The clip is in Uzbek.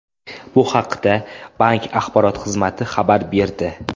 Bu haqda bank axborot xizmati xabar berdi.